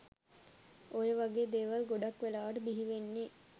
ඔය වගේ දේවල් ගොඩක් වෙලාවට බිහිවෙන්නෙ